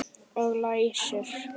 Og læsir.